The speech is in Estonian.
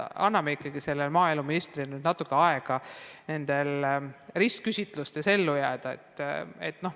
Anname ikkagi maaeluministrile natuke aega kohaneda, et ta suudaks ristküsitlustes ellu jääda.